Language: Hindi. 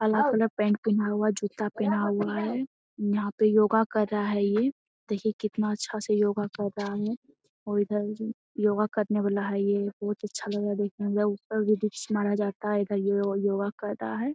अलग अलग पैंट पहना हुआ है जूता पहना हुआ है। यहाँ पे योगा कर रहा है ये। देखिये कितना अच्छा से योगा कर रहा है और इधर योगा करने वाला है। ये बहुत अच्छा लग रहा है देखने में मतलब ऊपर भी डिप्स मारा जाता है इधर यो योगा कर रहा है।